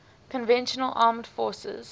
conventional armed forces